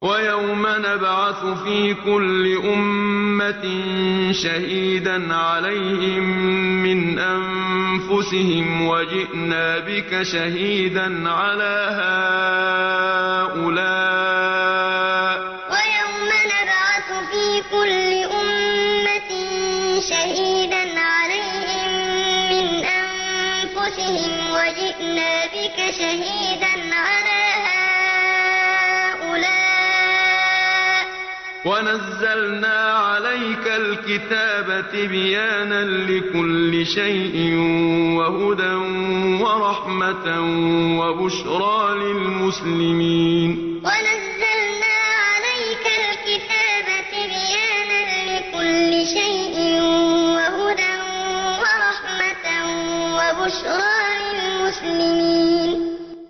وَيَوْمَ نَبْعَثُ فِي كُلِّ أُمَّةٍ شَهِيدًا عَلَيْهِم مِّنْ أَنفُسِهِمْ ۖ وَجِئْنَا بِكَ شَهِيدًا عَلَىٰ هَٰؤُلَاءِ ۚ وَنَزَّلْنَا عَلَيْكَ الْكِتَابَ تِبْيَانًا لِّكُلِّ شَيْءٍ وَهُدًى وَرَحْمَةً وَبُشْرَىٰ لِلْمُسْلِمِينَ وَيَوْمَ نَبْعَثُ فِي كُلِّ أُمَّةٍ شَهِيدًا عَلَيْهِم مِّنْ أَنفُسِهِمْ ۖ وَجِئْنَا بِكَ شَهِيدًا عَلَىٰ هَٰؤُلَاءِ ۚ وَنَزَّلْنَا عَلَيْكَ الْكِتَابَ تِبْيَانًا لِّكُلِّ شَيْءٍ وَهُدًى وَرَحْمَةً وَبُشْرَىٰ لِلْمُسْلِمِينَ